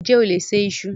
Ǹjẹ́ o lè se iṣu?